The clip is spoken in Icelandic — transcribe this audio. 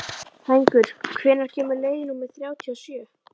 Hængur, hvenær kemur leið númer þrjátíu og sjö?